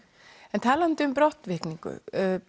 en talandi um brottvikningu